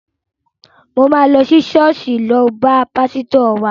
Mò máa lọ sí ṣọ́ọ̀ṣì lọ bá pásítọ̀ wa.